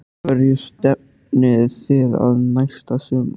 Hverju stefnið þið að næsta sumar?